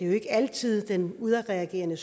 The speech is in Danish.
jo ikke altid den udadreagerende